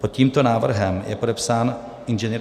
Pod tímto návrhem je podepsán Ing.